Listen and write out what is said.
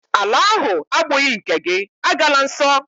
Ala ahụ agbụghị nke gị, agala nsọ!